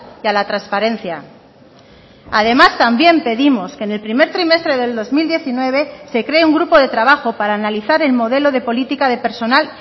y a la transparencia además también pedimos que en el primer trimestre del dos mil diecinueve se cree un grupo de trabajo para analizar el modelo de política de personal